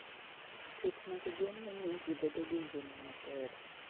Pith mag gwen ne miyo ji bedo gi ngima maber.